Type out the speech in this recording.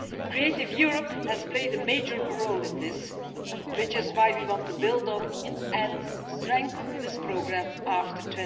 Creative Europe has played a major role in this, which is why we want to build on and strengthen this programme after